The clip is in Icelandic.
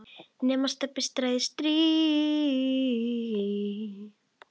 nema Stebbi træði strý.